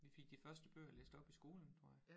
Vi fik de første bøger læst op i skolen tror jeg